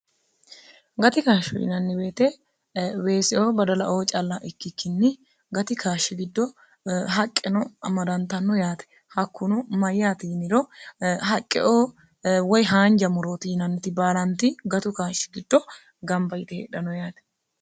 gati kaashsho yinanni beete weessio badalaoo calla ikkikkinni gati kaashshi giddo haqqeno amarantanno yaate hakkuno mayyaati yiniro haqqeoo woy haanja morooti yinanniti baalanti gatu kaashshi giddo gamba yite heedhano yaate